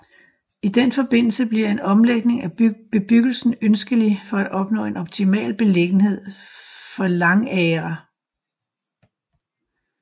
I den forbindelse bliver en omlægning af bebyggelsen ønskelig for at opnå en optimal beliggenhed for langagre